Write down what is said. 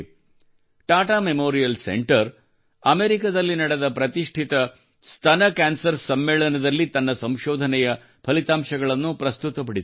Tata memorial centre ಅಮೆರಿಕದಲ್ಲಿ ನಡೆದ ಪ್ರತಿಷ್ಠಿತ ಸ್ತನ ಕ್ಯಾನ್ಸರ್ ಸಮ್ಮೇಳನದಲ್ಲಿ ತನ್ನ ಸಂಶೋಧನೆಯ ಫಲಿತಾಂಶಗಳನ್ನು ಪ್ರಸ್ತುತಪಡಿಸಿದೆ